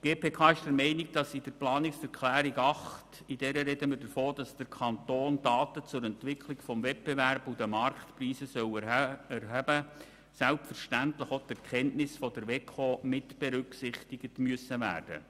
Die GPK ist der Meinung, dass in der Planungserklärung 8, wonach der Kanton Daten zur Entwicklung des Wettbewerbs und der Marktpreise erheben soll, selbstverständlich auch die Erkenntnisse der WEKO mitberücksichtigt sind.